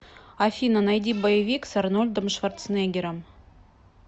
афина найди боевик с арнольдом шварцнеггером